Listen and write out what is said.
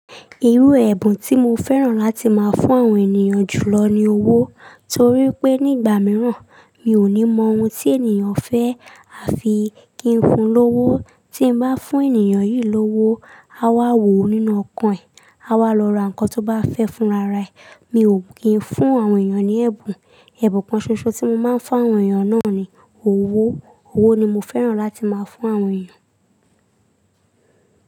Irú ẹ̀bùn tí mo fẹ́ràn láti máa fún àwọn ènìyàn jùlọ ni owó. Torí pé nígbà mìíràn mi ò ní mọ ohun tí ènìyàn fẹ́, a fi kí n fun lówó. Tí n bá fún ènìyàn yìí lówó, á wá wò ó nínú okan ẹ̀. A wá lọ ra nǹkan tó bá fẹ́ fúnra rẹ̀. Mi ò kí ń fún àwọn ènìyàn ní ẹ̀bùn. Ẹ̀bùn kan ṣoṣo tí mo máa ń fún àwọn ènìyàn náà ni owó. Owó ni mo fẹ́ràn láti máa fún àwọn ènìyàn.